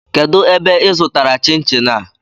Kedụ ebe ị zụtara chin chin a?